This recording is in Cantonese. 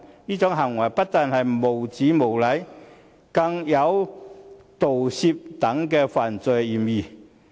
這種行為不但是無聊、無禮，更有盜竊等犯罪嫌疑。